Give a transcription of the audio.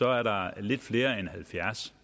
er der lidt flere end halvfjerds